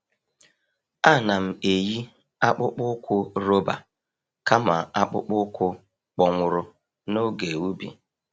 A na'm eyi akpụkpọ ụkwụ roba kama akpụkpọ ụkwụ kpọnwụrụ n’oge ubi.